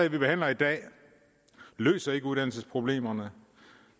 vi behandler i dag løser ikke uddannelsesproblemerne